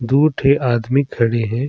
दु ठी आदमी खड़े हे।